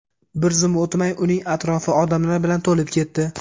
Bir zum o‘tmay, uning atrofi odamlar bilan to‘lib ketdi.